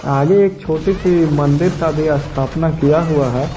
आगे एक छोटी सी मंदिर का भी स्थापना किया हुआ है।